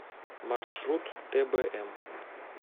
маршрут тбм